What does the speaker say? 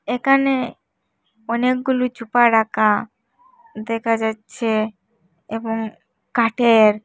একানে অনেকগুলি চুপা রাখা দেখা যাচ্ছে এবং কাঠের।